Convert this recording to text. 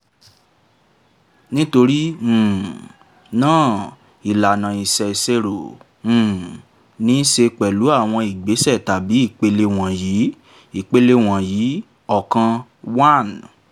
nítorí um náà ìlànà ìṣèṣirò um ní í ṣe pẹlú àwọn ìgbésẹ̀ tàbí ìpele wọ̀nyí: ìpele wọ̀nyí: ókan( one )